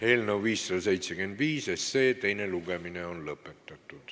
Eelnõu 575 teine lugemine on lõpetatud.